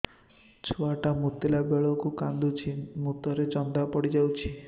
ଛୁଆ ଟା ମୁତିଲା ବେଳକୁ କାନ୍ଦୁଚି ମୁତ ରେ ଜନ୍ଦା ପଡ଼ି ଯାଉଛି